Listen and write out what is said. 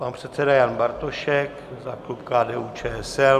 Pan předseda Jan Bartošek za klub KDU-ČSL.